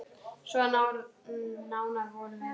Svo nánar vorum við.